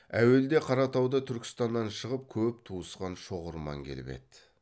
әуелде қаратауда түркістаннан шығып көп туысқан шоғырман келіп еді